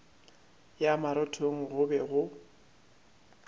ya marothong go be go